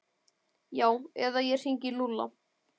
Já eða ég hringi í Lúlla.